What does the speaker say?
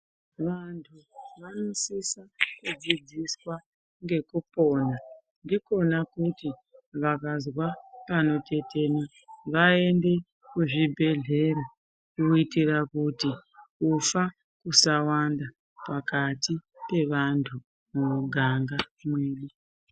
Vantu vanosisa kudzidziswa ngekupona ndikona kuti vakazwa panotetena vaende kuzvibhedhlera kuitira kuti kufa kusawanda pakati pevantu mumiganga mwedu.